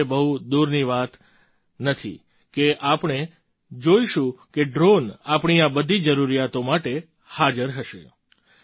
એ હવે બહુ દૂરની વાત નથી કે આપણે જોઈશું કે ડ્રૉન આપણી આ બધી જરૂરિયાતો માટે હાજર હશે